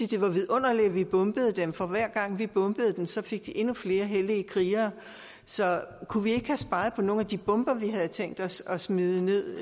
det var vidunderligt at vi bombede dem for hver gang vi bombede dem så fik de endnu flere hellige krigere så kunne vi ikke have sparet på nogle af de bomber vi havde tænkt os at smide ned